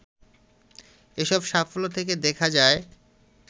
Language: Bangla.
এসব সাফল্য থেকে দেখা যায়